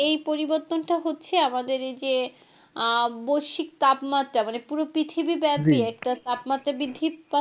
এই পরিবর্তনটা হচ্ছে আমাদের এই যে আহ বৈষয়িক তাপমাত্রা মানে পুরো পৃথিবী ব্যাপি একটা তাপমাত্রা বৃদ্ধি পাচ্ছে,